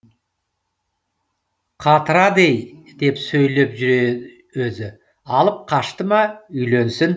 қатырады ей деп сөйлеп жүр өзі алып қашты ма үйленсін